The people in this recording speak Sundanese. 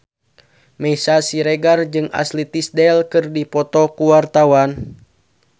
Meisya Siregar jeung Ashley Tisdale keur dipoto ku wartawan